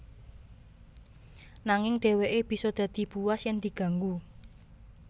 Nanging dheweke bisa dadi buas yen diganggu